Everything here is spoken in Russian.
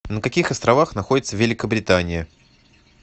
на каких островах находится великобритания